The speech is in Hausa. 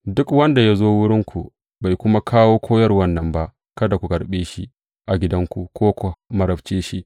Duk wanda ya zo wurinku bai kuma kawo koyarwan nan ba, kada ku karɓe shi a gidanku ko ku marabce shi.